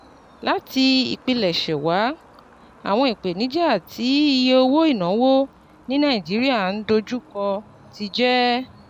Láti ìpilẹ̀ṣẹ̀ wá, àwọn ìpèníjà tí iye owó ìnáwó ní Nàìjíríà ń ń dojú kọ ti jẹ́